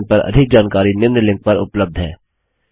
इस मिशन पर अधिक जानकारी निम्न लिंक पर उपलब्ध है